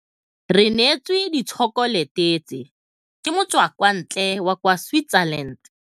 Re neêtswe ditšhokolêtê tse, ke motswakwantlê wa kwa Switzerland.